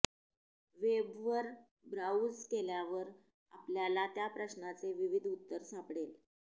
वेबवर browse केल्यावर आपल्याला त्या प्रश्नाचे विविध उत्तर सापडेल